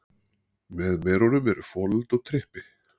Með merunum eru folöld og trippi.